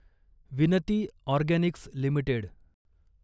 विनती organics limited